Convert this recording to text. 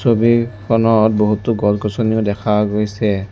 ছবিখনত বহুতো গছ-গছনিও দেখা গৈছে।